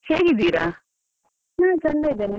ನಾನು ಚಂದ ಇದ್ದೇನೆ, ನೀವು ಹೇಗಿದ್ದೀರಿ?